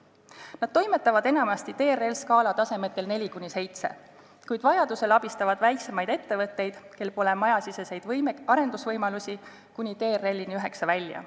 Nad toimetavad enamasti TRL-skaala tasemetel 4–7, kuid vajadusel abistavad väiksemaid ettevõtteid, kel pole majasiseseid arendusvõimalusi, kuni TRL-ini 9 välja.